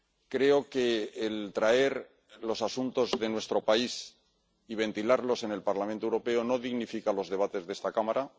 Creo que el traer los asuntos de nuestro país y ventilarlos en el Parlamento Europeo no dignifica los debates de esta Cámara.